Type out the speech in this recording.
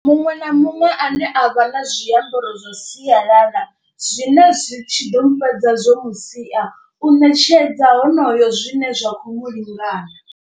Muṅwe na muṅwe ane a vha na zwiambaro zwa sialala zwine zwi tshi ḓo mu fhedza zwo musia u ṋetshedza honoyo zwine zwa khou mulingana.